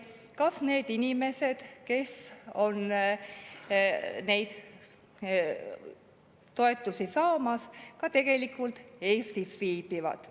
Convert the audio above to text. Me ei tea, kas need inimesed, kes neid toetusi saavad, ka tegelikult Eestis viibivad.